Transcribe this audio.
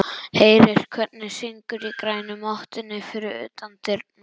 Heyrir hvernig syngur í grænu mottunni fyrir utan dyrnar.